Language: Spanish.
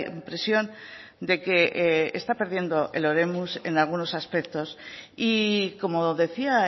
impresión de que está perdiendo el oremus en algunos aspectos y como decía